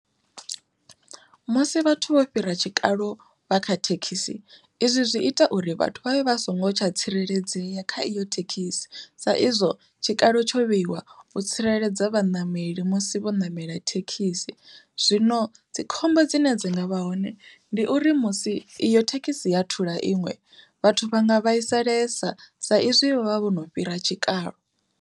Musi vhathu vho fhira tshikalo vha kha thekhisi izwi zwi ita uri vhathu vhavhe vha songo tsha tsireledzea kha iyo thekhisi, sa izwo tshikalo tsho vheiwa u tsireledza vhaṋameli musi vho ṋamela thekhisi. Zwino dzi khombo dzine dzi nga vha hone ndi uri musi iyo thekhisi ya thula iṅwe, vhathu vha nga vhaisalesa sa izwi vho vha vho no fhira tshikalo.